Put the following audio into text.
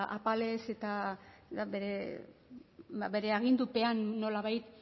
apalez eta bere agindupena nolabait